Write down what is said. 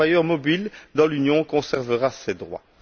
Le travailleur mobile dans l'Union conservera ses droits.